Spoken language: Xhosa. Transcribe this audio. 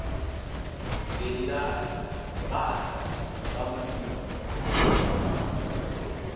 ngelikade bada bamkhupha